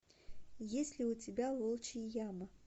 есть ли у тебя волчья яма